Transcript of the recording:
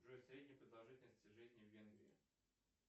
джой средняя продолжительность жизни в венгрии